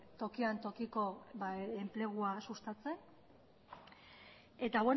tokian tokiko enplegua sustatzen eta